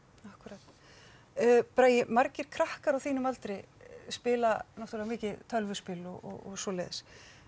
akkúrat bragi margir krakkar á þínum aldri spila náttúrulega mikið tölvuspil og svoleiðis